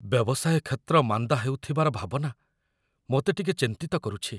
ବ୍ୟବସାୟ କ୍ଷେତ୍ର ମାନ୍ଦା ହେଉଥିବାର ଭାବନା ମୋତେ ଟିକେ ଚିନ୍ତିତ କରୁଛି।